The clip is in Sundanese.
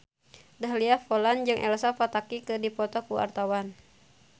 Dahlia Poland jeung Elsa Pataky keur dipoto ku wartawan